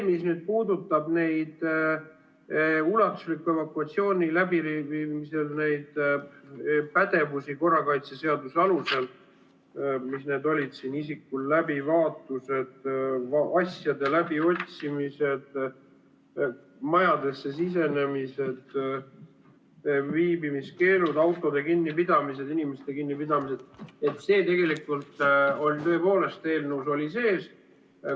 Mis nüüd puudutab ulatusliku evakuatsiooni läbiviimisel neid pädevusi korrakaitseseaduse alusel – need on isiku läbivaatused, asjade läbiotsimised, majadesse sisenemised, viibimiskeelud, autode kinnipidamised, inimeste kinnipidamised –, see tõepoolest oli eelnõus sees.